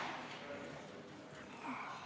Istungi lõpp kell 11.57.